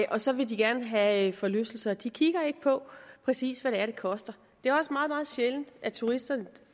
og så vil de gerne have forlystelser de kigger ikke på præcis hvad det er det koster det er også meget meget sjældent at turister